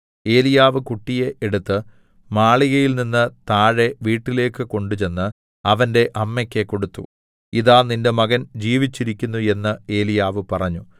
ഏലീയാവ് കുട്ടിയെ എടുത്ത് മാളികയിൽനിന്ന് താഴെ വീട്ടിലേക്ക് കൊണ്ടുചെന്ന് അവന്റെ അമ്മക്ക് കൊടുത്തു ഇതാ നിന്റെ മകൻ ജീവിച്ചിരിക്കുന്നു എന്ന് ഏലീയാവ് പറഞ്ഞു